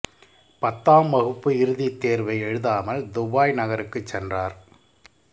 பத்தாம் வகுப்பு இறுதித் தேர்வை எழுதாமல் துபாய் நகருக்குச் சென்றார்